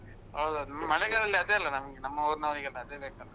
ಹೌದೌದು. ಮಳೆಗಾಲದಲ್ಲಿ ಅದೇ ಅಲ್ಲ ನಮ್ಗೆ ನಮ್ಮ ಊರಿನವ್ರಿಗೆಲ್ಲ ಅದೇ ಬೇಕಲ್ಲಾ?